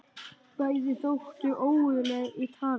Bæði þóttu óguðleg í tali.